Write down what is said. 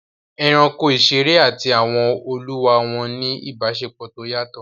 Ẹranko ìṣeré àti àwọn olúwa wọn ní ìbáṣepọ̀ tó yàtọ̀